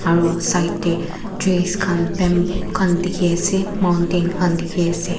Aro side dae trees khan bamboo khan dekhey ase mountain khan dekhey ase.